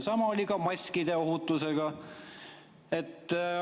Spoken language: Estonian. Sama oli ka maskide ohutusega.